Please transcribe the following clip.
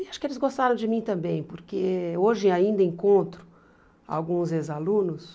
E acho que eles gostaram de mim também, porque hoje ainda encontro alguns ex-alunos